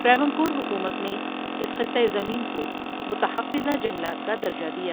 ٹراونکور حکومت نے اس خطہ زمین کو متحفظہ جنگلات کا درجہ دیا ۔